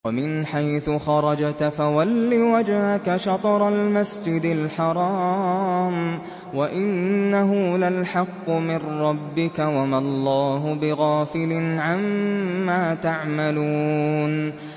وَمِنْ حَيْثُ خَرَجْتَ فَوَلِّ وَجْهَكَ شَطْرَ الْمَسْجِدِ الْحَرَامِ ۖ وَإِنَّهُ لَلْحَقُّ مِن رَّبِّكَ ۗ وَمَا اللَّهُ بِغَافِلٍ عَمَّا تَعْمَلُونَ